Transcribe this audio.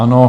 Ano.